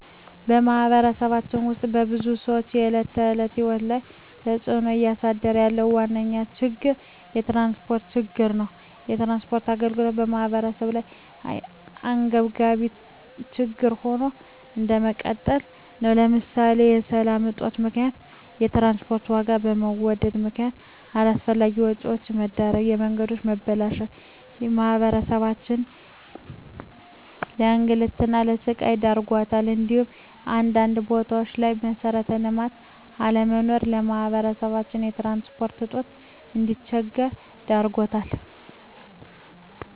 በማህበረሰባችን ውስጥ የብዙ ሰዎች የዕለት ተዕለት ህይወት ላይ ተፅእኖ እያሳደረ ያለው ዋነኛ ችግር የትራንስፖርት ችግር ነው። የትራንስፖርት ችግር በማህበረሰባችን ላይ አንገብጋቢ ችግር ሆኖ እንደቀጠለ ነው ለምሳሌ በሰላም እጦት ምክንያት የትራንስፖርት ዋጋ በመወደድ ምክነያት አላስፈላጊ ወጪዎች መዳረግ፣ የመንገዶች መበላሸት ማህበረሰባችንን ለእንግልትና ለስቃይ ዳርጓታል እንዲሁም አንዳንድ ቦታዎች ላይ መሠረተ ልማት አለመኖር ማህበረሰባችን በትራንስፖርት እጦት እንዲቸገር ዳርጎታል።